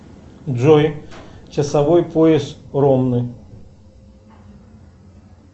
джой часовой пояс ромны